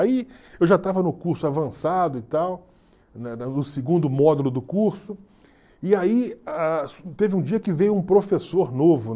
Aí eu já estava no curso avançado e tal, no segundo módulo do curso, e aí ah teve um dia que veio um professor novo